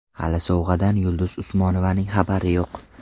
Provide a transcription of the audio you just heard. Hali sovg‘adan Yulduz Usmonovaning xabari yo‘q.